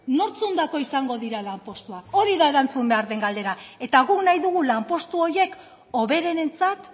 nortzuentzako izango dira lanpostuak hori da erantzun behar den galdera eta guk nahi dugu lanpostu horiek hoberenentzat